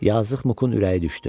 Yazıq Muqun ürəyi düşdü.